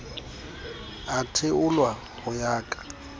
a theolwa ho ya ka